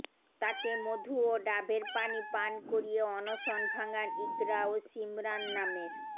তাকে মধু ও ডাবের পানি পান করিয়ে অনশন ভাঙ্গান ইকরা ও শিমরান নামের